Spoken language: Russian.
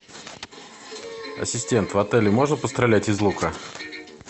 ассистент в отеле можно пострелять из лука